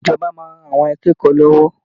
Ìjọba máa ran àwọn akẹ́kọ̀ọ́ lọ́wọ́